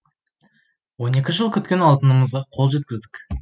он екі жыл күткен алтынымызға қол жеткіздік